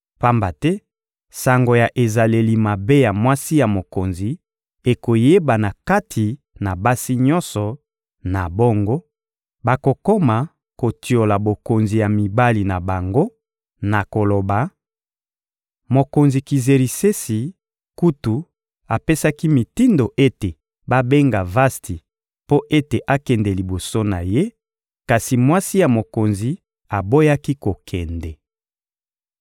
Pamba te sango ya ezaleli mabe ya mwasi ya mokonzi ekoyebana kati na basi nyonso; na bongo, bakokoma kotiola bokonzi ya mibali na bango na koloba: «Mokonzi Kizerisesi kutu apesaki mitindo ete babenga Vasti mpo ete akende liboso na ye, kasi mwasi ya mokonzi aboyaki kokende!»